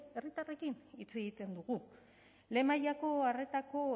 herritarrekin hitz egiten dugu lehen mailako arretako